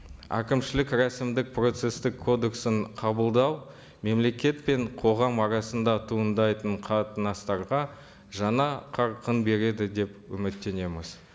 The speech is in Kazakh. әкімшілік рәсімдік процесстік кодексін қабылдау мемлекет пен қоғам арасында туындайтын қатынастарға жаңа қарқын береді деп үміттенеміз